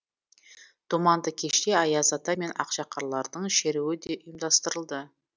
думанды кеште аяз ата мен ақшақарлардың шеруі де ұйымдастырылды